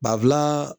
Bafilan